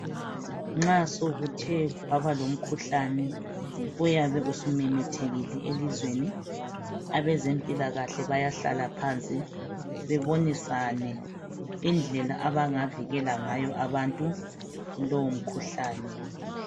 Nxa sokuthe kuyabe lomkhuhlane uyabe usumemethekile elizweni abezempilakahle bayahlala phansi bebonisane indlela abangavikela ngayo abantu kulowo mkhuhlane